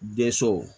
Denso